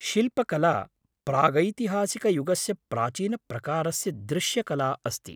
शिल्पकला प्रागैतिहासिकयुगस्य प्राचीनप्रकारस्य दृश्यकला अस्ति।